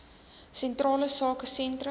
sentrale sake sentrums